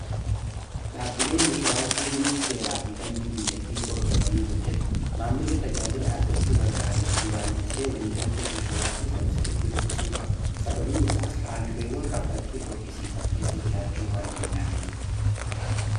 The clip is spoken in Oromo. dhaabileen inshuuraansii hundii seeraa fi dambii biyyattii hordofanii hojjeetaa maammillii tajaajilaa argachuu barbaaduus duraan dursee waliigaaltee inshuuraansii sanaa sirritti dubbisuu qaba sabaabni isaas haaldureewwan kaffaaltii dhoorkiisiisan kessaa jiraachuu waan danda'aniif